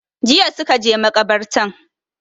Jiya suka je makabartan